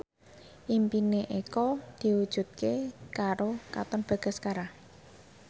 impine Eko diwujudke karo Katon Bagaskara